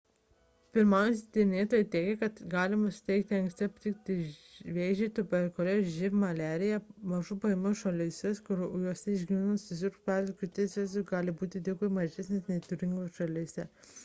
pirmaujantys tyrinėtojai teigia kad tai gali padėti anksti aptikti vėžį tuberkuliozę živ ir maliariją mažų pajamų šalyse kuriose išgyvenamumas susirgus pvz. krūties vėžiu gali būti dvigubai mažesnis nei turtingesnėse šalyse